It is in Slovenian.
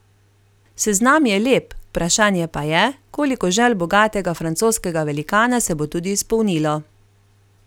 Seznam je lep, vprašanje pa je, koliko želj bogatega francoskega velikana se bo tudi izpolnilo.